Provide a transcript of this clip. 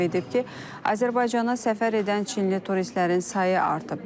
O əlavə edib ki, Azərbaycana səfər edən çinli turistlərin sayı artıb.